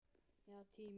Já, tíminn.